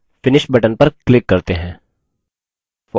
अब finish button पर click करते हैं